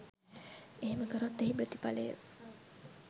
එහෙම කරොත් එහි ප්‍රථිඵලය